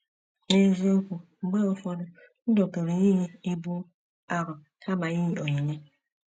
N’eziokwu,, mgbe ụfọdụ ndụ pụrụ iyi ibu arọ kama iyi onyinye.